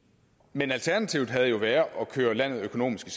men alternativet havde jo været at køre landet økonomisk